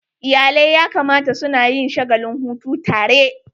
Iyalai ya kamata suna yin shagalin hutu tare.